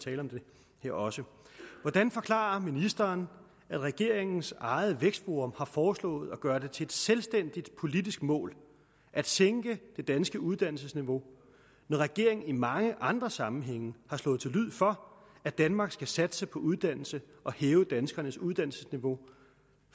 tale om det her også hvordan forklarer ministeren at regeringens eget vækstforum har foreslået at gøre det til et selvstændigt politisk mål at sænke det danske uddannelsesniveau når regeringen i mange andre sammenhænge har slået til lyd for at danmark skal satse på uddannelse og hæve danskernes uddannelsesniveau